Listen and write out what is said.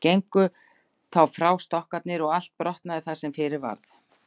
Gengu þá frá stokkarnir og allt brotnaði það sem fyrir varð.